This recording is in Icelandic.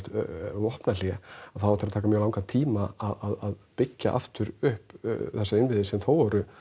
vopnahlé þá á eftir að taka mjög langan tíma að byggja aftur upp þessa innviði sem þó voru